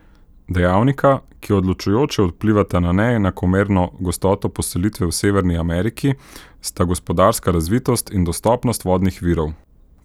Dejavnika, ki odločujoče vplivata na neenakomerno gostoto poselitve v Severni Ameriki, sta gospodarska razvitost in dostopnost vodnih virov.